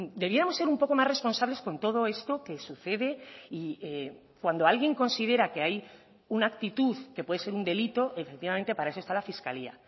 debíamos ser un poco más responsables con todo esto que sucede y cuando alguien considera que hay una actitud que puede ser un delito efectivamente para eso está la fiscalía